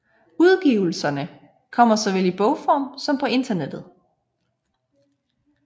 Udgivelserne kommer såvel i bogform som på internettet